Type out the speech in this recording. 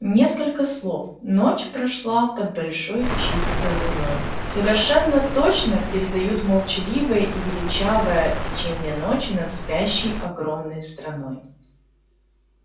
несколько слов ночь прошла под большой чистой луной совершенно точно передают молчаливое и величавое течение ночи над спящей огромной страной